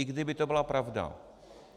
I kdyby to byla pravda.